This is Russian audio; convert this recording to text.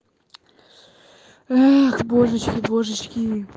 эх божечки божечки